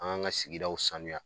An k'an ka sigidaw saniya